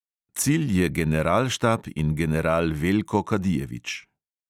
Cilj je generalštab in general veljko kadijević.